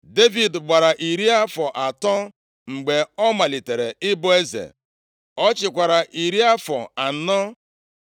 Devid gbara iri afọ atọ mgbe ọ malitere ịbụ eze. Ọ chịkwara iri afọ anọ.